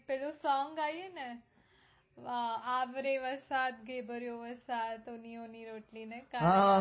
પેલું song આવ્યું ને અમ આવરે વરસાદ ઢેબરિયો વરસાદ ઉની ઉની રોટલી ને કારેલાં હમ